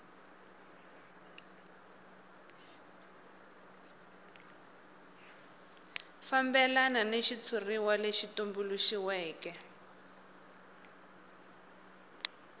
fambelana ni xitshuriwa lexi tumbuluxiweke